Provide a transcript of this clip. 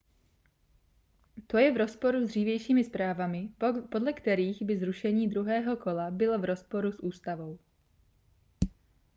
to je v rozporu s dřívějšími zprávami podle kterých by zrušení druhého kola bylo v rozporu s ústavou